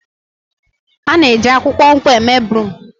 A na-eji akwukwo nkwụ eme broom.